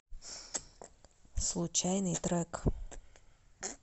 случайный трек